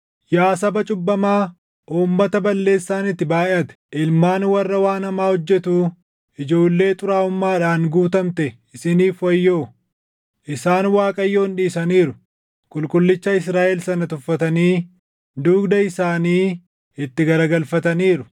Yaa saba cubbamaa, uummata balleessaan itti baayʼate, ilmaan warra waan hamaa hojjetuu, ijoollee xuraaʼummaadhaan guutamte isiniif wayyoo! Isaan Waaqayyoon dhiisaniiru; Qulqullicha Israaʼel sana tuffatanii dugda isaanii itti garagalfataniiru.